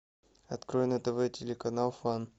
открой на тв телеканал фан